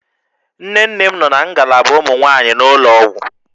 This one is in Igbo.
Nne nne m nọ na ngalaba ụmụ nwaanyị n'ụlọ ọgwụ